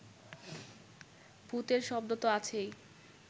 ভূতের শব্দ তো আছেই